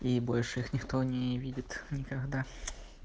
и больше их никто не видит никогда